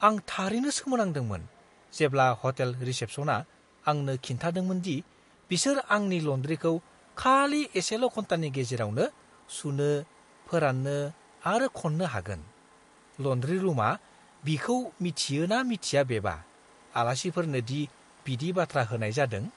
आं थारैनो सोमोनांदोंमोन जेब्ला हटेल रिसेप्शना आंनो खिन्थादोंमोन दि बिसोर आंनि लन्ड्रीखौ खालि एसेल' घन्टानि गेजेरावनो सुनो, फोराननो आरो खन्नो हागोन। लन्ड्री रुमआ बिखौ मिथियो ना मिथिया बेबा आलासिफोरनो दि बिदि बाथ्रा होनाय जादों।